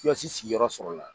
Tiyɔsi sigi yɔrɔ sɔrɔ la.